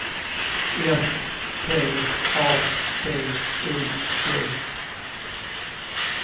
S T A D I G